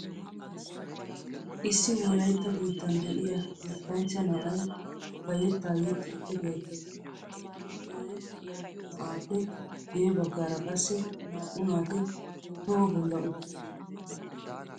Issi wolaytta biittan de'iyaa yettanchcha na'ay bayetta yexxiiddi beettes. He yexxiyaa na'aappe guyye baggaara qassi naa'u naati toho bolla uttidosona.